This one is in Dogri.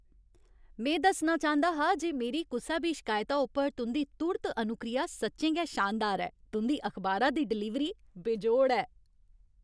में दस्सना चांह्दा हा जे मेरी कुसै बी शिकायता उप्पर तुं'दी तुर्त अनुक्रिया सच्चें गै शानदार ऐ। तुं'दी अखबारा दी डलीवरी बेजोड़ ऐ।